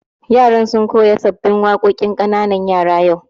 Yaran sun koya sabbin waƙoƙin yara ƙanana yau